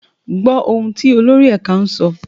Gbọ́ ohùn tí olórí ẹ̀ka ń sọ!